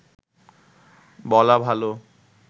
বলা ভালো